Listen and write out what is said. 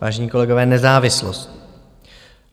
Vážení kolegové, nezávislost.